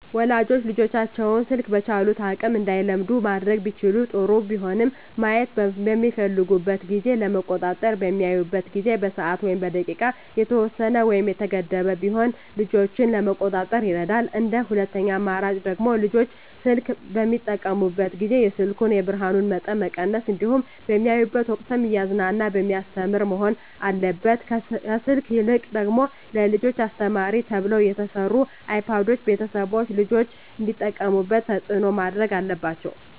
ወላጆች ልጆቻቸውን ስልክ በቻሉት አቅም እንዳይለምዱ ማድረግ ቢችሉ ጥሩ ቢሆንም ማየት በሚፈልጉበት ጊዜ ለመቆጣጠር በሚያዩበት ጊዜ በሰዓት ወይም በደቂቃ የተወሰነ ወይም የተገደበ ቢሆን ልጆችን ለመቆጣጠር ይረዳል እንደ ሁለተኛ አማራጭ ደግሞ ልጆች ስልክ በሚጠቀሙበት ጊዜ የስልኩን የብርሀኑን መጠን መቀነስ እንዲሁም በሚያዩበት ወቅትም እያዝናና በሚያስተምር መሆን አለበት ከስልክ ይልቅ ደግሞ ለልጆች አስተማሪ ተብለው የተሰሩ አይፓዶችን ቤተሰቦች ልጆች እንዲጠቀሙት ተፅዕኖ ማድረግ አለባቸው።